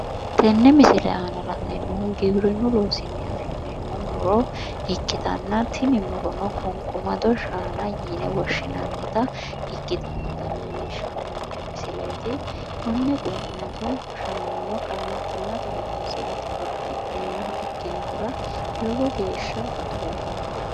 tenne misile aana la'neemmohu giwirinnunni afi'neemmohu muro ikkitanna tini murono qunqumado shaana yine woshshinannita ikkitinota leellishshannonke misileeti konne qunqumado shaanano qaamattimmate horonsirate horo afi'neemmoha ikkinohura lowo geeshsha baxoomma.